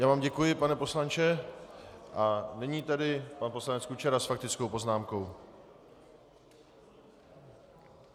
Já vám děkuji, pane poslanče, a nyní tedy pan poslanec Kučera s faktickou poznámkou.